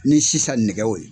Ni sisan nɛgɛw ye.